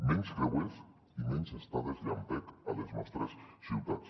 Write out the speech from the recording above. menys creuers i menys estades llampec a les nostres ciutats